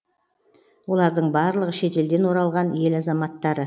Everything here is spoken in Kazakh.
олардың барлығы шетелден оралған ел азаматтары